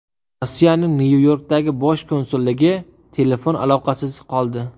Rossiyaning Nyu-Yorkdagi bosh konsulligi telefon aloqasisiz qoldi.